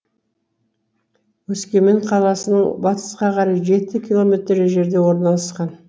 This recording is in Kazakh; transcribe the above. өскемен қаласының батысқа қарай жеті километр жерде орналасқан